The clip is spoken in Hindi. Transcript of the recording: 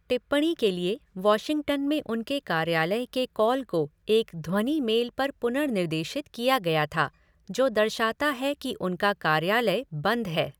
टिप्पणी के लिए वाशिंगटन में उनके कार्यालय के कॉल को एक ध्वनि मेल पर पुनर्निर्देशित किया गया था जो दर्शाता है कि उनका 'कार्यालय बंद है'।